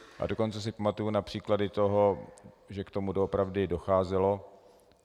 A dokonce si pamatuju na příklady toho, že k tomu doopravdy docházelo.